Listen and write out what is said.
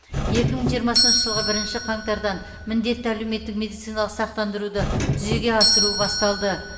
екі мың жиырмасыншы жылғы бірінші қаңтардан міндетті әлеуметтік медициналық сақтандыруды жүзеге асыру басталды